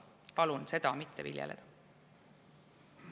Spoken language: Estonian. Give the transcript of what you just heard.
Palun seda mitte viljeleda!